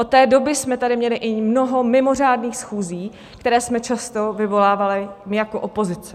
Od té doby jsme tady měli i mnoho mimořádných schůzí, které jsme často vyvolávali my jako opozice.